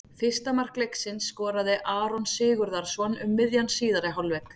Fyrsta mark leiksins skoraði Aron Sigurðarson um miðjan síðari hálfleik.